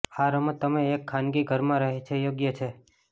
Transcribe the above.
આ રમત તમે એક ખાનગી ઘરમાં રહે છે યોગ્ય છે